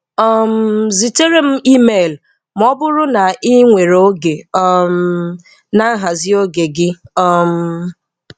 um zitere m email ma ọ bụrụ na ị nwere oge um na nhazi oge gị!! um